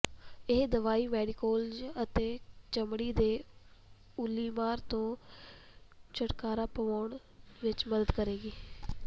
ਇਹ ਦਵਾਈ ਮੈਰੀਗੋਲਡਜ਼ ਅਤੇ ਚਮੜੀ ਦੇ ਉੱਲੀਮਾਰ ਤੋਂ ਛੁਟਕਾਰਾ ਪਾਉਣ ਵਿਚ ਮਦਦ ਕਰੇਗੀ